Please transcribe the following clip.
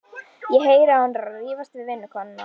Ég heyri að hún er að rífast við vinnukonuna.